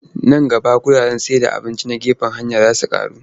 Nan gaba wuraren cin abinci na gefen hanya za su ƙaru.